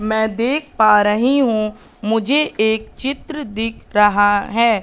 मैं देख पा रही हूं मुझे एक चित्र दिख रहा है।